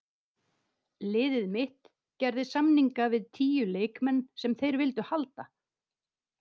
Liðið mitt gerði samninga við tíu leikmenn sem þeir vildu halda.